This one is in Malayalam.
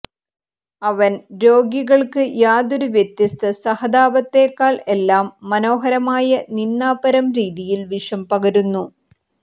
അവൻ രോഗികൾക്ക് യാതൊരു വ്യത്യസ്ത സഹതാപത്തേക്കാൾ എല്ലാ മനോഹരമായ നിന്ദാപരം രീതിയിൽ വിഷം പകരുന്നു